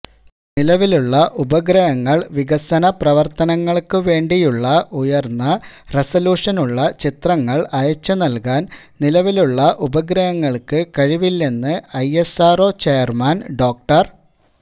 നിലവിലുള്ള ഉപഗ്രഹങ്ങൾ വികസനപ്രവർത്തനങ്ങള്ക്ക് വേണ്ടിയുള്ള ഉയർന്ന റെസല്യൂഷനുള്ള ചിത്രങ്ങള് അയച്ചുനൽകാൻ നിലവിലുള്ള ഉപഗ്രങ്ങൾക്ക് കഴിവില്ലെന്ന് ഐഎസ്ആർഒ ചെയർമാൻ ഡോ